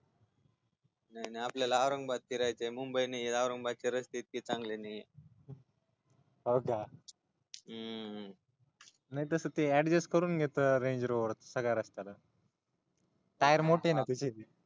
नाही नाही आपल्याला औरंगाबाद फिरायचय मुंबई नाही औरंगाबादचे रस्ते इतके ही चांगले नाहीत हो का हूं नाही तस ते adjust करून घेतो रेंजरोवर सगळा रस्ता टायर मोठे ना तिचे